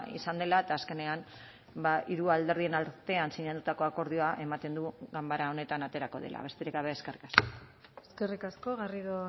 izan dela eta azkenean hiru alderdien artean sinatutako akordioa ematen dugu ganbara honetan aterako dela besterik gabe eskerrik asko eskerrik asko garrido